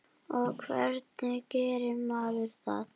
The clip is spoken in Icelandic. Og hvernig gerir maður það?